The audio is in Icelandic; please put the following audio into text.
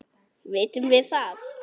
Vitum við það?